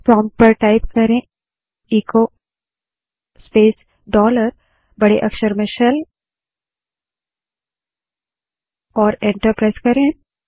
prompt पर बड़े अक्षर में echo space dollar shell type करें और एंटर दबायें